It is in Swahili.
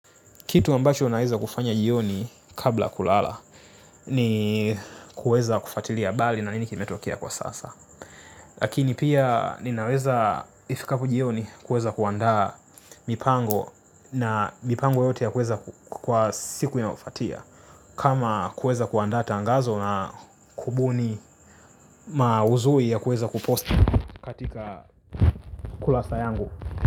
Kitu ambacho naeza kufanya jioni kabla kulala ni kuweza kufatilia abali na nini kimetokea kwa sasa. Lakini pia ninaweza ifikapo jioni kuweza kuandaa mipango na mipango yote ya kuweza kwa siku inayo fatia. Kama kueza kuandaa tangazo na kubuni mauzui ya kuweza kupost katika kulasa yangu.